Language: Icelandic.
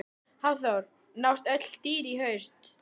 Hafþór: Nást öll dýr í haust?